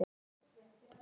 Hún þagði.